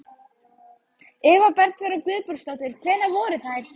Eva Bergþóra Guðbergsdóttir: Hvernig voru þær?